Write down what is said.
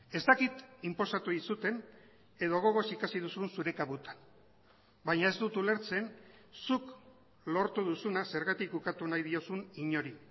ez dakit inposatu dizuten edo gogoz ikasi duzun zure kabutan baina ez dut ulertzen zuk lortu duzuna zergatik ukatu nahi diozun inori